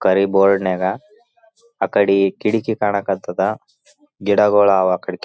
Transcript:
ಕರಿ ಬೋರ್ಡ್ನಾಗ ಆ ಕಡಿ ಕಿಡಿಕಿ ಕಾಣಕತ್ತಾದ ಗಿಡಗಳು ಆವ ಆ ಕಡಿ.